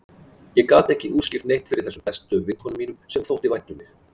Ég gat ekki útskýrt neitt fyrir þessum bestu vinkonum mínum, sem þótti vænt um mig.